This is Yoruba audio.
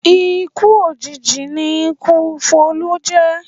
Ikú òjijì ni ikú Folú jẹ̀